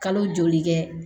Kalo joli kɛ